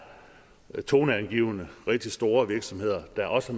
toneangivende rigtig store virksomheder der også